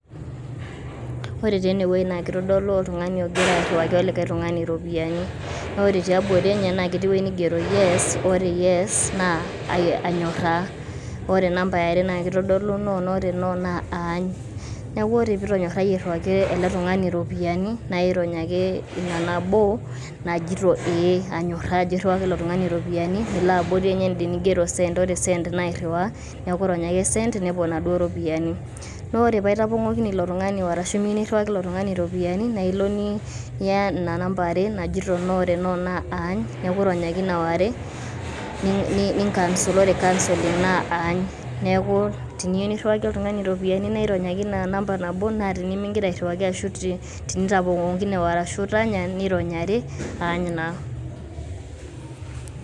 Ore taa enewei na kitodolu oltung'ani ogira airriwaki olikae tung'ani iropiyiani. Na ore tiabori enye, na ketii ewueji nigero yes naa anyorraa. Ore number eare na kitodolu no na ore no na aany. Neeku ore pitonyorrayie airriwaki ele tung'ani iropiyiani, na irony ake ina nabo najito ee anyorraa ajo airriwaki ilo tung'ani iropiyiani. Nilo abori ende nigero send. Ore send na airriwaa. Neeku irony ake send nepuo naduo ropiyaiani. Na ore pa itapong'okine ilo tung'ani, arashu miyieu nirriwaki ilo tung'ani iropiyiani, na ilo niya ina namba are najito no ,na ore no na aany. Neeku irony ake na ware, ni cancel. Ore cancel na aany. Neeku teniyieu nirriwaki oltung'ani iropiyiani na irony ake ina namba nabo na tenimigira airriwaki ashu tinitapong'okine ashu itanya, nirony are, aany naa.